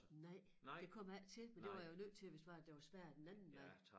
Nej det kom jeg ikke til men det var jeg jo nødt til hvis det var at der var spærret den anden vej